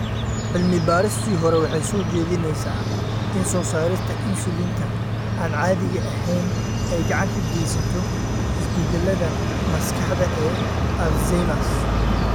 Cilmi-baaristii hore waxay soo jeedinaysaa in soo saarista insulin-ta aan caadiga ahayn ay gacan ka geysato isbeddellada maskaxda ee Alzheimers.